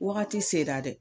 Wagati sera dɛ